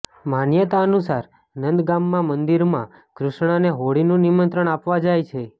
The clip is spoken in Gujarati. માન્યતા અનુસાર નંદગામમાં મંદિરમાં કૃષ્ણને હોળીનું નિમંત્રણ આપવા જાય છે